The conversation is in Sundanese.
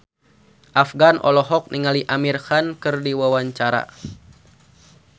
Afgan olohok ningali Amir Khan keur diwawancara